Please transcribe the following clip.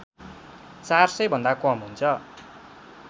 ४०० भन्दा कम हुन्छ